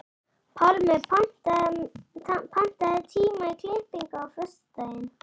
Pálmi, pantaðu tíma í klippingu á föstudaginn.